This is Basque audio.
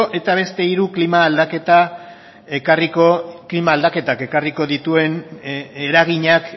eta beste hiru klima aldaketak ekarriko dituen eraginak